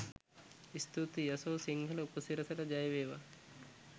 ස්තුතියි යශෝ සිංහල උපසිරසට ජය වේවා!